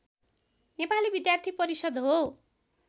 नेपाली विद्यार्थी परिषद् हो